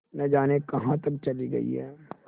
न जाने कहाँ तक चली गई हैं